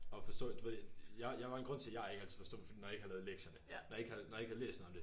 Og forstå du ved jeg jeg var en grund til jeg ikke altid forstod når jeg ikke havde lavet lektierne når jeg ikke når jeg ikke havde læst noget om det